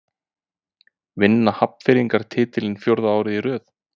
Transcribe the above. Vinna Hafnfirðingar titilinn fjórða árið í röð?